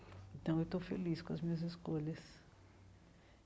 Então, eu estou feliz com as minhas escolhas.